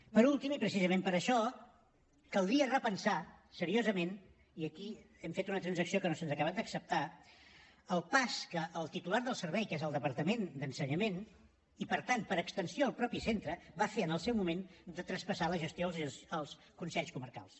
per últim i precisament per això caldria repensar seriosament i aquí hem fet una transacció que no se’ns ha acabat d’acceptar el pas que el titular del servei que és el departament d’ensenyament i per tant per extensió el mateix centre va fer en el moment de traspassar la gestió als consells comarcals